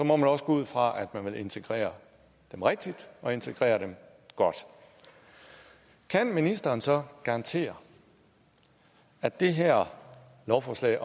må man også gå ud fra at man vil integrere dem rigtigt og integrere dem godt kan ministeren så garantere at det her lovforslag